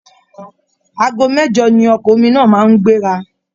Aago mẹ̀jọ ni ọkọ̀ omi náà máa ń gbéra